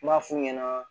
M'a f'u ɲɛna